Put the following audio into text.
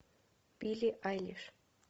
билли айлиш